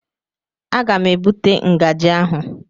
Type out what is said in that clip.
Aga m ebute ngaji ahụ.